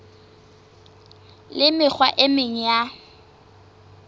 le mekgwa e meng ya